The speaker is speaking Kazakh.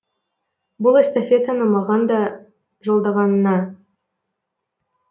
бұл эстафетаны маған да жолдағаныңа